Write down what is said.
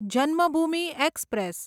Janmabhoomi express